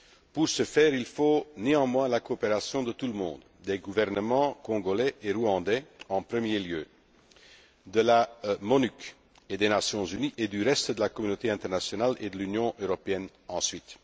Pour ce faire, il faut néanmoins la coopération de tout le monde, des gouvernements congolais et rwandais, en premier lieu, de la MONUC et des Nations unies, du reste de la communauté internationale et de l'Union européenne, ensuite.